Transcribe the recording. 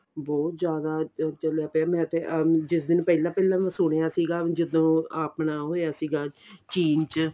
ਬਹੁਤ ਜਿਆਦਾ ਚੱਲਿਆ ਪਿਆ ਮੈਂ ਤੇ ਆਪ ਜਿਸ ਦਿਨ ਪਹਿਲਾਂ ਪਹਿਲਾਂ ਸੁਣਿਆ ਸੀਗਾ ਜਦੋਂ ਆਪਣਾ ਹੋਇਆ ਸੀਗਾ change